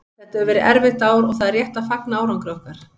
Þetta hefur verið erfitt ár og það er rétt að fagna árangri okkar.